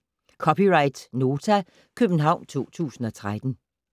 (c) Nota, København 2013